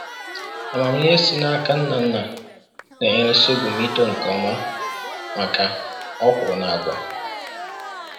Amamihe e si n’aka nna nna na-enyere sorghum ito nke ọma maka okwuru na agwa